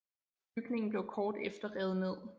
Bygningen blev kort efter revet ned